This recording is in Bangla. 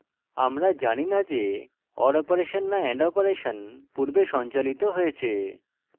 আমরা জানি না যে or অপারেশন না and অপারেশন পূর্বে সঞ্চালিত হয়েছে